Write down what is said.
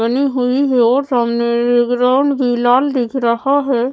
बनी हुई है और सामने ये ग्राउंड भी लाल दिख रहा है।